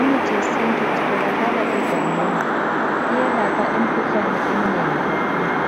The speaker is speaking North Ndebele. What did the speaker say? Imithi yesintu itholakala egangeni iyelapha imkhuhlane eminengi kakhulu.